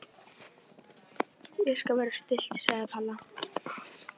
Ég skal vera stillt sagði Palla.